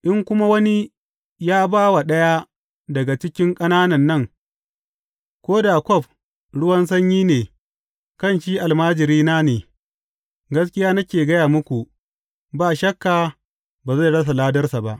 In kuma wani ya ba wa ɗaya daga cikin ƙananan nan ko da kwaf ruwan sanyi ne kan shi almajirina ne, gaskiya nake gaya muku, ba shakka ba zai rasa ladarsa ba.